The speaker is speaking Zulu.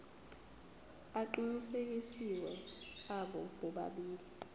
aqinisekisiwe abo bobabili